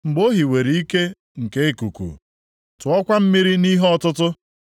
Mgbe o hiwere ike nke ikuku, tụọkwa mmiri nʼihe ọtụtụ,